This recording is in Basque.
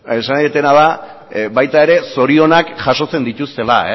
esan nahi dudana da baita era zorionak jasotzen dituztela